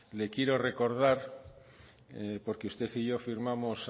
le quiero recordar porque usted y yo firmamos